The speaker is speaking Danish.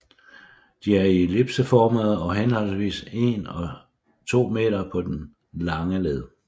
De er ellipseformede og henholdsvis en og to meter på den lange led